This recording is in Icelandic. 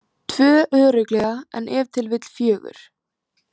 Tvö örugglega en ef til vill fjögur.